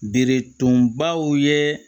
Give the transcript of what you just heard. Beretubaw ye